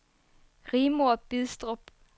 Rigmor Bidstrup